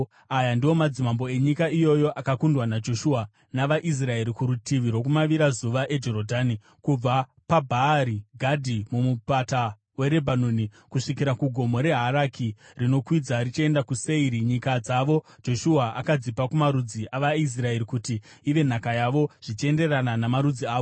Aya ndiwo madzimambo enyika iyoyo akakundwa naJoshua navaIsraeri kurutivi rwokumavirazuva eJorodhani, kubva paBhaari Gadhi muMupata weRebhanoni kusvikira kuGomo reHaraki, rinokwidza richienda kuSeiri (nyika dzavo Joshua akadzipa kumarudzi avaIsraeri kuti ive nhaka yavo zvichienderana namarudzi avo,